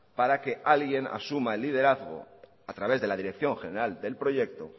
para que alguien asuma el liderazgo a través de la dirección general del proyecto